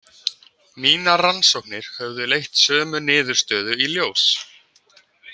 Mínar rannsóknir höfðu leitt sömu niðurstöðu í ljós.